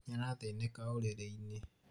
nĩarathinĩka ũrĩrĩ-inĩ